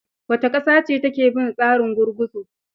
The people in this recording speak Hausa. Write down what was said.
Wace ƙasa ce take bin tsarin gurguzu?